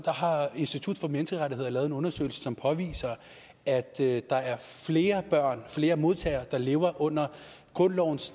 har institut for menneskerettigheder lavet en undersøgelse som påviser at der er flere flere modtagere der lever under grundlovens